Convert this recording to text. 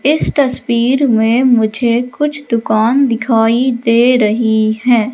इस तस्वीर में मुझे कुछ दुकान दिखाई दे रही है।